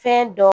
Fɛn dɔ